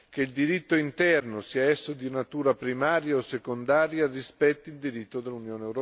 che il diritto interno, sia esso di natura primaria o secondaria, rispetti il diritto dell'UE.